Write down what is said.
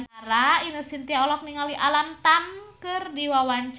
Ine Shintya olohok ningali Alam Tam keur diwawancara